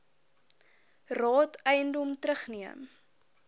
raad eiendom terugneem